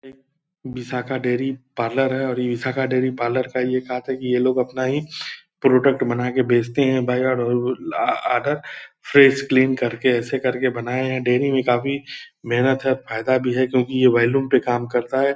Vishakha dairy parlour है और Vishakha dairy parlour का ये खास बात है की ये लोग अपना ही प्रोडक्ट बनाकर बेचते है बाई ऑर्डर फ्रेश क्रीम करके ऐसा करके बनाया है डेयरी में काफी मेहनत है और काफी फायदा भी है क्यूंकि ये वॉल्यूम पे काम करता है।